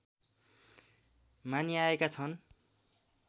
मानिआएका छन्